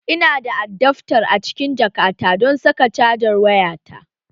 Ina da adaftar a cikin jakata don saka cajar wayata